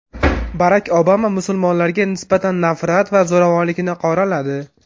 Barak Obama musulmonlarga nisbatan nafrat va zo‘ravonlikni qoraladi.